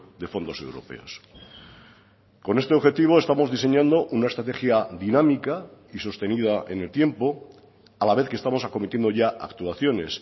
de fondos europeos con este objetivo estamos diseñando una estrategia dinámica y sostenida en el tiempo a la vez que estamos acometiendo ya actuaciones